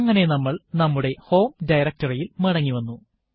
അങ്ങനെ നമ്മൾ നമ്മുടെ ഹോം directory യിൽ മടങ്ങി വന്നു